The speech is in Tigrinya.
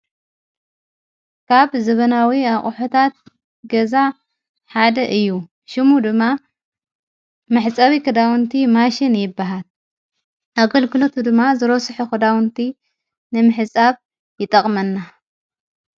ካብ ዘበናዊ ኣቕሑታት ገዛ ሓደ እ። ሽሙ ድማ ማሕፃዊ ክዳውንቲ ማሽን ይበሃል። ኣገልግሎቱ ድማ ዝሮስሒ ኹዳዉንቲ ነምሕጻብ ይጠቕመና።